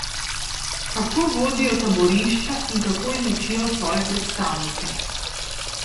Kako vodijo taborišča in kako izučijo svoje predstavnike?